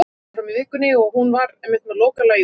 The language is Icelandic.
Þessi skepna, þessar skepnur, þvílík skepnuleg smekkleysa.